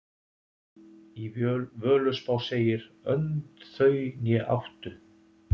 Í Völuspá segir: Önd þau né áttu,